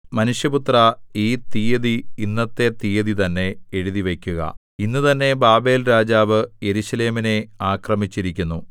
മനുഷ്യപുത്രാ ഈ തീയതി ഇന്നത്തെ തീയതി തന്നെ എഴുതിവയ്ക്കുക ഇന്നുതന്നെ ബാബേൽരാജാവ് യെരൂശലേമിനെ ആക്രമിച്ചിരിക്കുന്നു